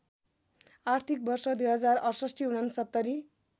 आर्थिक वर्ष २०६८ ६९